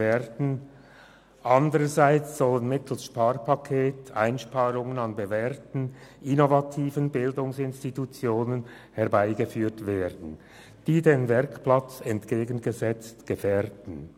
Andererseits sollen mittels Sparpaket Einsparungen an bewährten, innovativen Bildungsinstitutionen vorgenommen werden, die den Werkplatz, diesen Zielen entgegengesetzt, gefährden.